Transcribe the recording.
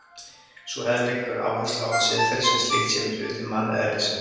Sú hefð leggur áherslu á að siðferðið sem slíkt sé hluti manneðlisins.